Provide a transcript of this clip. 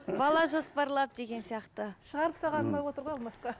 бала жоспарлап деген сияқты шығарып салған ұнап отыр ғой алмасқа